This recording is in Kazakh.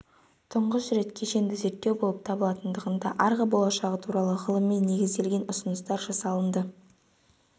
тұңғыш рет кешенді зерттеу болып табылатындығында арғы болашағы туралы ғылыми негізделген ұсыныстар жасалынды